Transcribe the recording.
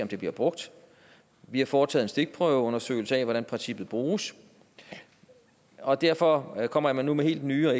det bliver brugt vi har foretaget en stikprøveundersøgelse af hvordan princippet bruges og derfor kommer jeg nu med helt nye og